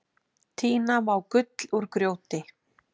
Tína má gull úr grjóti.